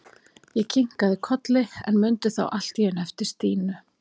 Ég kinkaði kolli, en mundi þá allt í einu eftir Stínu.